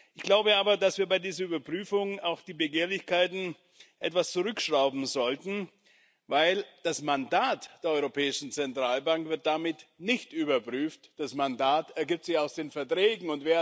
Ich glaube aber, dass wir bei diesen Überprüfungen auch die Begehrlichkeiten etwas zurückschrauben sollten, denn das Mandat der Europäischen Zentralbank wird damit nicht überprüft, das Mandat ergibt sich aus den Verträgen.